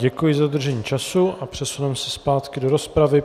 Děkuji za dodržení času a přesuneme se zpátky do rozpravy.